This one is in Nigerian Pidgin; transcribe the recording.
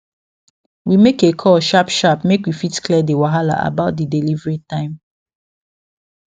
we make a call sharp sharp make we fit clear the wahala about the delivery time